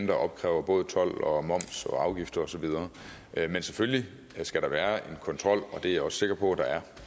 der opkræver både told og moms og afgifter og så videre men selvfølgelig skal der være en kontrol og det er jeg også sikker på